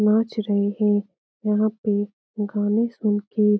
नाच रहें हैं यहाँ पे गाना सुन के।